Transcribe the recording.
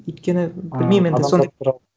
өйткені білмеймін енді